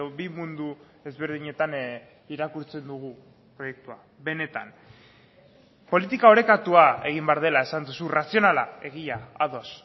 bi mundu ezberdinetan irakurtzen dugu proiektua benetan politika orekatua egin behar dela esan duzu razionala egia ados